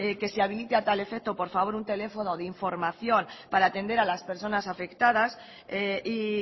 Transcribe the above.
que se habilite a tal efecto por favor un teléfono de información para atender a las personas afectadas y